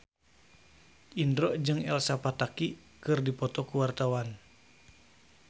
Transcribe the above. Indro jeung Elsa Pataky keur dipoto ku wartawan